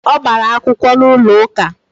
O gbara akwukwo n'ulo uka